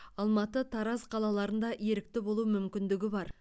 алматы тараз қалаларында ерікті болу мүмкіндігі бар